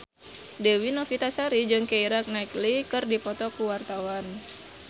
Dewi Novitasari jeung Keira Knightley keur dipoto ku wartawan